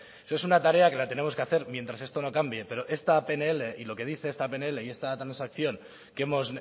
eso es una tarea que la tenemos que hacer mientras esto no cambie pero esta pnl y lo que dice esta pnl y esta transacción que hemos